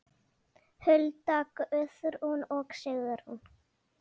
Hulda, Guðrún og Sigrún.